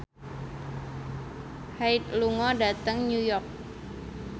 Hyde lunga dhateng New York